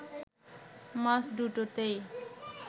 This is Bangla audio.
মাস দুটোতেই